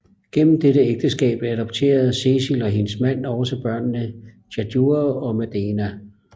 Gennem dette ægteskab adopterede Cecil og hendes mand også børnene Tadjure og Madena